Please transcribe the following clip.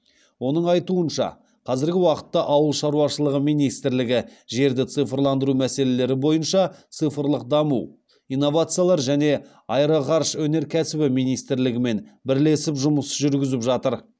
оның айтуынша қазіргі уақытта ауыл шаруашылығы министрлігі жерді цифрландыру мәселелері бойынша цифрлық даму инновациялар және аэроғарыш өнеркәсібі министрлігімен бірлесіп жұмыс жүргізіп жатыр